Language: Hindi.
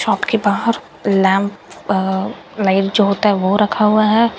शॉप के बाहर लैंप अह लाइट जो होता है वो रखा हुआ है।